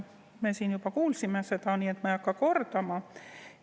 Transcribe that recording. Me kuulsime seda ka siin, nii et ma ei hakka kordama.